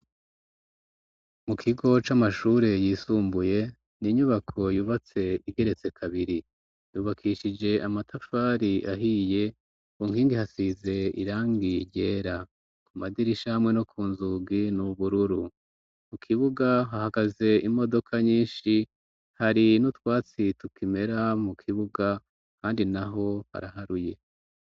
Mu kigo c'amashure yisumbuye n' inyubako yubatse igeretse kabiri yubakishije amatafari ahiye kunkingi hasize irangi ryera ku madira ishamwe no ku nzugi n'ubururu mu kibuga hahagaze imodoka nyinshi hari nu watsituka imera mu kibuga, kandi na ho haraharuye.